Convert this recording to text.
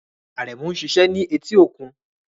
Aremu ń ṣiṣẹ́ ní etí okun